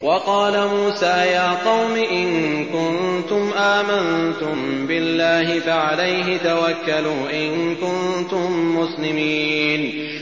وَقَالَ مُوسَىٰ يَا قَوْمِ إِن كُنتُمْ آمَنتُم بِاللَّهِ فَعَلَيْهِ تَوَكَّلُوا إِن كُنتُم مُّسْلِمِينَ